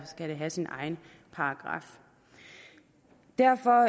skal det have sin egen paragraf derfor